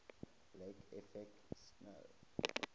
lake effect snow